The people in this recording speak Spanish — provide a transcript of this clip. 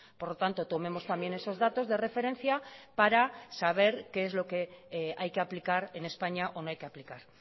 por lo tanto tomemos también esos datos de referencia para saber qué es lo que hay que aplicar en españa o no hay que aplicar